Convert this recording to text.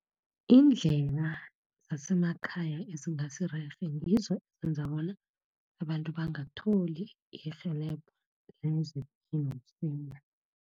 Indlela zasemakhaya ezingasi rerhe, ngizo zenza bona abantu bangatholi irhelebho